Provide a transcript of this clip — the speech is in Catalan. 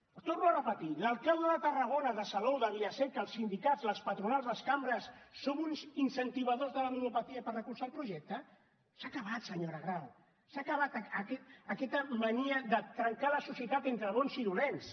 ho torno a repetir l’alcalde de tarragona de salou de vila seca els sindicats les patronals les cambres som uns incentivadors de la ludopatia per recolzar el projecte s’ha acabat senyora grau s’ha acabat aquesta mania de trencar la societat entre bons i dolents